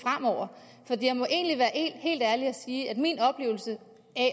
at jeg må egentlig være helt ærlig og sige at min oplevelse